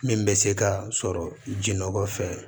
Min bɛ se ka sɔrɔ jinɔgɔ fɛ